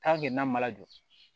n'a ma lajɔ